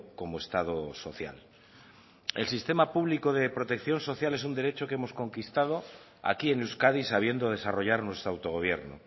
como estado social el sistema público de protección social es un derecho que hemos conquistado aquí en euskadi sabiendo desarrollar nuestro autogobierno